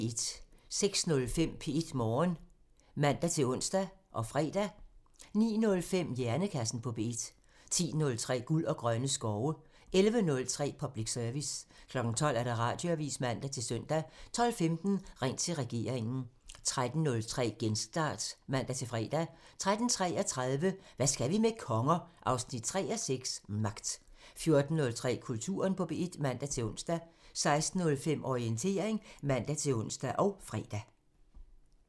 06:05: P1 Morgen (man-ons og fre) 09:05: Hjernekassen på P1 (man) 10:03: Guld og grønne skove (man) 11:03: Public Service (man) 12:00: Radioavisen (man-søn) 12:15: Ring til regeringen (man) 13:03: Genstart (man-fre) 13:33: Hvad skal vi med konger? 3:6 – Magt 14:03: Kulturen på P1 (man-ons) 16:05: Orientering (man-ons og fre)